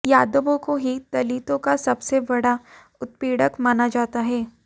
यादवों को ही दलितों का सबसे बड़ा उत्पीड़क माना जाता है